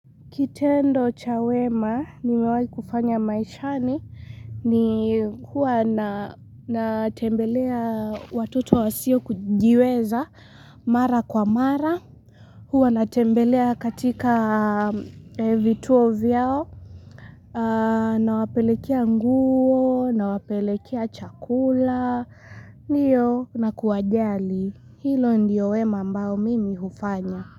Kitendo cha wema, nimewahi kufanya maishani, ni huwa natembelea watoto wasio kujiweza mara kwa mara, huwa natembelea katika vituo vyao, nawapelekea nguo, nawapelekea chakula, na kuwajali, hilo ndiyo wema ambao mimi hufanya.